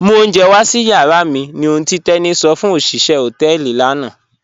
Mú ọ̀unjẹ̀ wà sí yàrà mi ní òhùn tí Teni sọ fún ọ̀ṣiṣẹ̀ họtẹẹlì lànà